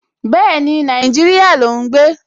Bẹ́ẹ̀ni, Nàìjíríyà ló ún gbé